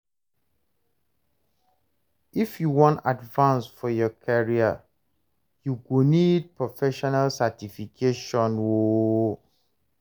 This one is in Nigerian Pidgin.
If you wan advance for your career, you go need professional certification o.